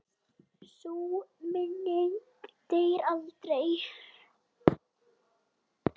Sú minning deyr aldrei.